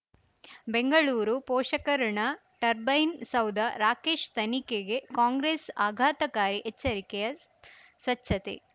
ಬೆಂಗಳೂರು ಪೋಷಕಋಣ ಟರ್ಬೈನು ಸೌಧ ರಾಕೇಶ್ ತನಿಖೆಗೆ ಕಾಂಗ್ರೆಸ್ ಆಘಾತಕಾರಿ ಎಚ್ಚರಿಕೆ ಸ್ವಚ್ಛತೆ